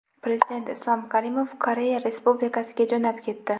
Prezident Islom Karimov Koreya Respublikasiga jo‘nab ketdi.